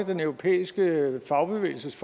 den europæiske fagbevægelse